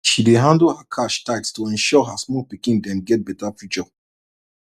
she dey handle her cash tight to ensure her small pikin dem get better future